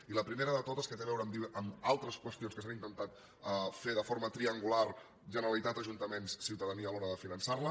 i la primera de totes que té a veure amb altres qüestions que s’han intentat fer de forma triangular generalitat ajuntaments ciutadania a l’hora de finançar les